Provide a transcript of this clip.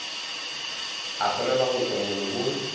a swanela go tšwa molomong